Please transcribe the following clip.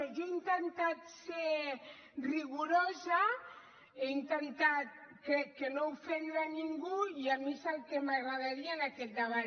jo he intentat ser rigorosa he intentat crec de no ofendre ningú i a mi és el que m’agradaria en aquest debat